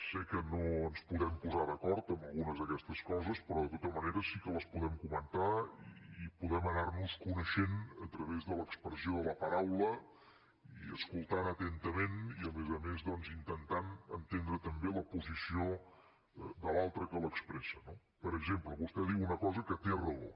sé que no ens podem posar d’acord en algunes d’aquestes coses però de tota manera sí que les podem comentar i podem anar nos coneixent a través de l’expressió de la paraula i escoltant atentament i a més a més doncs intentant entendre també la posició de l’altre que l’expressa no per exemple vostè diu una cosa que té raó